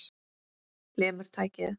Lemur tækið.